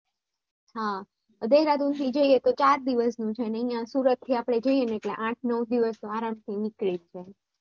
હા દેહરાદૂન થી જઈને તો ચાર દિવસ નું છે અને અહિયાંથી સુરત થી આપણેે જઇયે તો આઠ નવ દિવસ તો આરામ થી નીકળી જાય